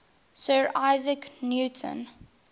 sir isaac newton